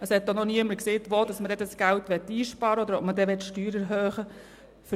Es hat auch noch niemand gesagt, wo man dieses Geld einsparen oder ob man die Steuern erhöhen möchte.